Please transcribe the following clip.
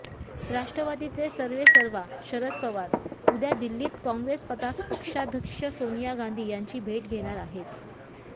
राष्ट्रवादीचे सर्वेसर्वा शरद पवार उद्या दिल्लीत काँग्रेस पक्षाध्यक्ष सोनिया गांधी यांची भेट घेणार आहेत